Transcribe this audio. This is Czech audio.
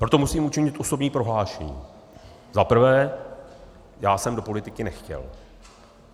Proto musím učinit osobní prohlášení: Za prvé, já jsem do politiky nechtěl.